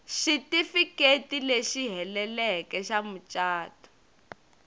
xitifiketi lexi heleleke xa mucato